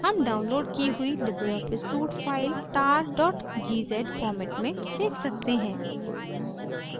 हम downloaded की हुई libreoffice suite file tar gz format में देख सकते हैं